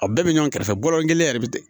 A bɛɛ bɛ ɲɔgɔn kɛrɛfɛ balɔn kelen yɛrɛ bɛ